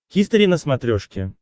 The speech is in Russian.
хистори на смотрешке